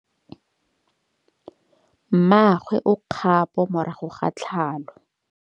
Mmagwe o kgapô morago ga tlhalô.